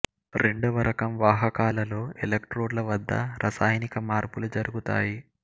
రెండవ రకం వాహకాలలో ఎలక్ట్రోడ్ ల వద్ద రసాయనిక మార్పులు జరుగుతాయి